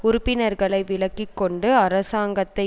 உறுப்பினர்களை விலக்கி கொண்டு அரசாங்கத்தை